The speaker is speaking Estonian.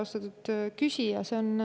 Austatud küsija!